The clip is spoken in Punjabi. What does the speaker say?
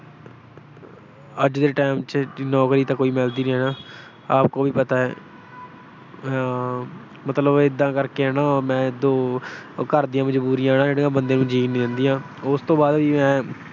ਅੱਜ ਦੇ ਟਾਈਮ ਚ ਨੌਕਰੀ ਤਾਂ ਕੋਈ ਮਿਲਦੀ ਨੀ ਨਾ, ਆਪ ਕੋ ਵੀ ਪਤਾ ਹੈ। ਆਹ ਇਹਦਾ ਜਿਹੜੀਆਂ ਘਰ ਦੀਆਂ ਮਜਬੂਰੀਆਂ ਆ ਨਾ ਉਹ ਬੰਦੇ ਨੂੰ ਜੀਉਣ ਨਹੀਂ ਦਿੰਦੀਆਂ। ਉਸ ਤੋਂ ਬਾਅਦ ਵੀ ਮੈਂ